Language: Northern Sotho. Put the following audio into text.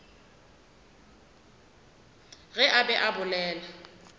ge a be a bolela